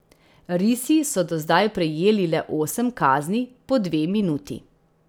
Risi so do zdaj prejeli le osem kazni po dve minuti.